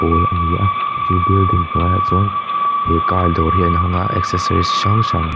a ni a chu building hnuaiah chuan he car dawr hi an hawng a accessories hrang hrang--